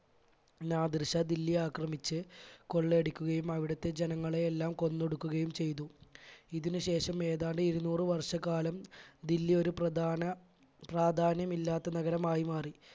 നാദിർഷ ദില്ലി ആക്രമിച്ച് കൊള്ള അടിക്കുകയും അവിടുത്തെ ജനങ്ങളെ എല്ലാം കൊന്നൊടുക്കുകയും ചെയ്തു. ഇതിന് ശേഷം ഏതാണ്ട് ഇരുനൂറ് വർഷക്കാലം ദില്ലി ഒരു പ്രധാന പ്രാധാന്യമില്ലാത്ത നഗരമായി മാറി.